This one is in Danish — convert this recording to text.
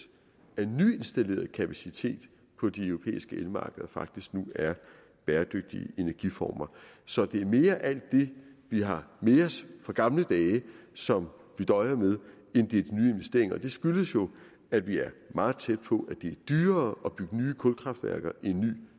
af den nyindstallerede kapacitet på de europæiske elmarkeder faktisk nu er bæredygtige energiformer så det er mere alt det vi har med os fra gamle dage som vi døjer med end det er de nye investeringer og det skyldes jo at vi er meget tæt på at det er dyrere at bygge nye kulkraftværker end nye